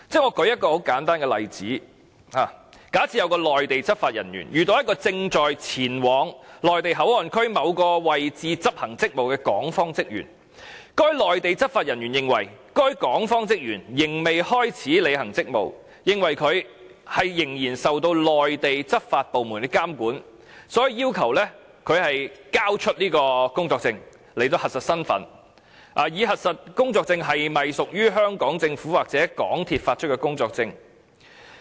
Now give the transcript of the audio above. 我舉一個很簡單的例子：假設有一名內地執法人員遇到一個正在前往內地口岸區某個位置執行職務的港方職員，該內地執法人員認為該港方職員仍未開始履行職務，認為他仍然受內地執法部門監管，所以要求他交出工作證以核實身份，以核實工作證是否屬於香港政府或港鐵公司發出的工作證。